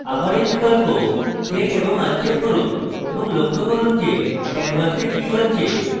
আবার এই বিকল্প check এবং uncheck করুন এবং লক্ষ্য করুন যে canvas কি হচ্ছে